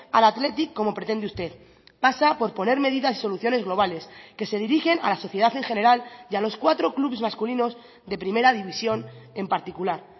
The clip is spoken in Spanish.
al athletic como pretende usted pasa por poner medidas y soluciones globales que se dirigen a la sociedad en general y a los cuatro clubs masculinos de primera división en particular